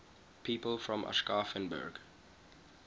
people from aschaffenburg